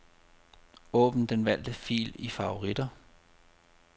Åbn den valgte fil i favoritter.